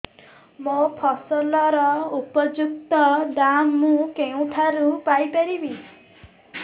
ମୋ ଫସଲର ଉପଯୁକ୍ତ ଦାମ୍ ମୁଁ କେଉଁଠାରୁ ପାଇ ପାରିବି